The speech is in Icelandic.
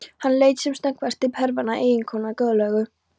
Hann leit sem snöggvast til Hervarar, eiginkonunnar góðlegu.